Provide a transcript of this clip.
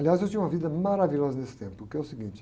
Aliás, eu tinha uma vida maravilhosa nesse tempo, que é o seguinte.